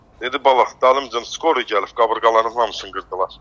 Dedi, bala, dalımca skori gəlib, qabırğaların hamısını qırdılar.